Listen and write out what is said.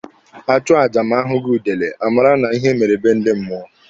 A chụọ aja ma a hụghị udele, a mara na ihe mere be ndị mmụọ.